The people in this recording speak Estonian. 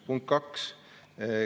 Punkt kaks.